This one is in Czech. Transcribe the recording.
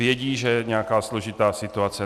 Vědí, že je nějaká složitá situace.